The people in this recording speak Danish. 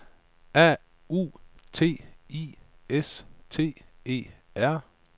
A U T I S T E R